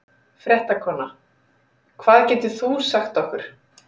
Fréttakona: Hvað getur þú sagt okkur?